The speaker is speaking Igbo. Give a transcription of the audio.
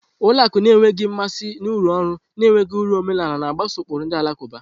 Ụlọ akụ na-enweghị mmasị na-urụ ọrụ na-enweghị uru omenala, na-mgbaso ụkpụrụ ndi alakuba.